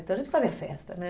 Então a gente fazia festa, né?